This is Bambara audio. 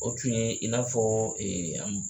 O tun ye in n'a fɔ